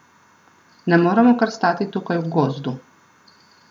Ne moremo kar stati tukaj v gozdu!